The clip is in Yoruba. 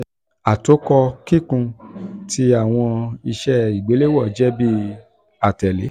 atokọ kikun ti awọn iṣe igbelewọn jẹ bi atẹle: